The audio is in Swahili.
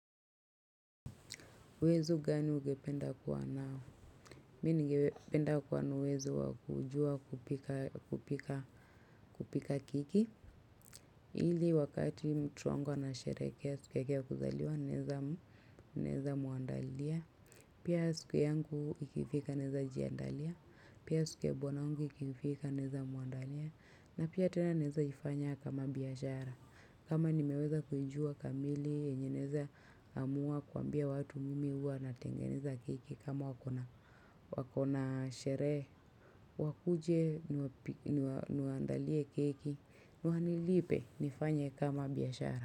Uwezo gani ungependa kuwa nao? Mimi ningependa kuwaa na uwezo wa kujua kupika keki. Ili wakati mtu wangu anasherekea siku yake kuzaliwa naweza muandalia. Pia siku yangu ikifika naweza jiandalia. Pia siku ya bwana yangu ikifika naweza muandalia. Na pia tena naweza ifanya kama biashara. Kama nimeweza kujua kamili yenye naweza amua kuwaambia watu mimi huwa natengeneza keki kama uko na sherehe. Wakuje niwaandalie keki wanilipe nifanye kama biashara.